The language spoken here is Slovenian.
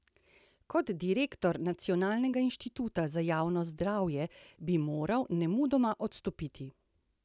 Kot direktor Nacionalnega inštituta za javno zdravje bi moral nemudoma odstopiti!